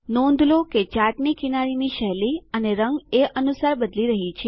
નોંધ લો કે ચાર્ટની કિનારીની શૈલી અને રંગ એ અનુસાર બદલી રહ્યી છે